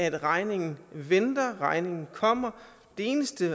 at regningen venter regningen kommer det eneste